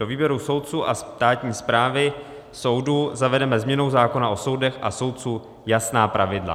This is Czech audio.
Do výběru soudců a státní správy soudů zavedeme změnou zákona o soudech a soudců jasná pravidla.